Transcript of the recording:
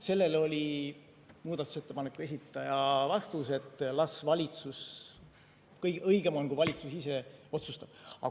Sellele oli muudatusettepaneku esitaja vastus, et kõige õigem on, kui valitsus ise otsustab.